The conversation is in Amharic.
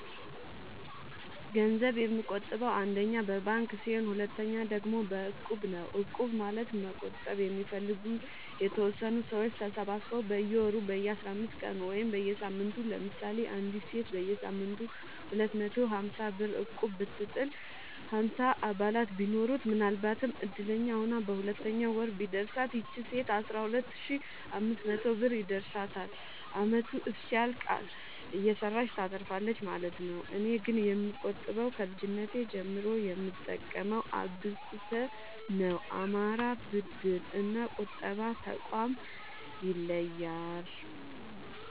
ገንዘብ የምቆ ጥበው አንደኛ በባንክ ሲሆን ሁለተኛ ደግሞ በእቁብ ነው እቁብ ማለት መቁጠብ የሚፈልጉ የተወሰኑ ሰዎች ተሰባስበው በየወሩ በየአስራአምስት ቀኑ ወይም በየሳምንቱ ለምሳሌ አንዲት ሴት በየሳምንቱ ሁለት መቶ ሀምሳብር እቁብጥል ሀምሳ አባላት ቢኖሩት ምናልባትም እድለኛ ሆና በሁለተኛው ወር ቢደርሳት ይቺ ሴት አስራሁለት ሺ አምስት መቶ ብር ይደርሳታል አመቱ እስኪያልቅ እየሰራች ታተርፋለች ማለት ነው። እኔ ግን የምቆጥበው ከልጅነቴ ጀምሮ የምጠቀመው አብቁተ ነው። አማራ ብድር እና ቁጠባ ጠቋም ይለያል።